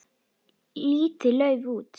Lítið lauf út.